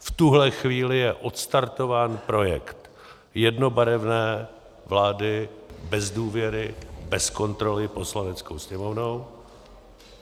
V tuhle chvíli je odstartován projekt jednobarevné vlády bez důvěry, bez kontroly Poslaneckou sněmovnou.